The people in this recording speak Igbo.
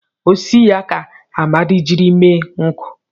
Osisi ya ka Amadi jiri mee nkụ.